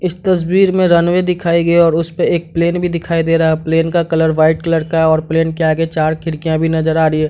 इस तस्वीर में रनवे दिखाया गया है और उसपे एक प्लेन भी दिखाई दे रहा है प्लेन का कलर व्हाइट कलर का है और प्लेन के आगे चार खिड़कियां भी नजर आ रही है।